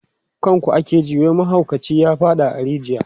kan ku ake ji wai mahaukaci ya faɗa a rijiya